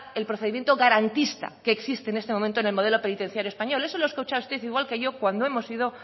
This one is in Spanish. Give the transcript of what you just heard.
el procedimiento garantista que existe en este momento en el modelo penitenciario español eso lo ha escuchado usted igual que yo cuando hemos ido